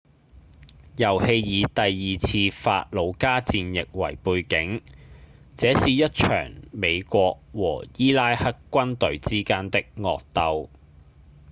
遊戲以第二次法魯加戰役為背景這是一場美國和伊拉克軍隊之間的惡鬥